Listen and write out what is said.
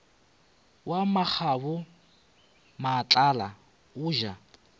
wa makgabo matlala o ja